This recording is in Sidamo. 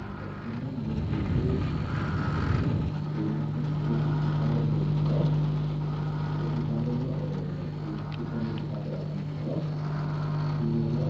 Babbaxxino muuziiqu uddunnicho ikkiteewoti gitaare leeltawo tini gitaareno duuchu dani gitaare afantawo shiima no